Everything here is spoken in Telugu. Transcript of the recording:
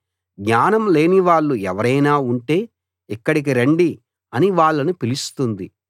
జ్ఞానం లేనివాళ్ళు ఎవరైనా ఉంటే ఇక్కడికి రండి అని వాళ్ళను పిలుస్తుంది